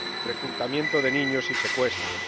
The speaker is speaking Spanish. reclutamiento de niños y secuestros.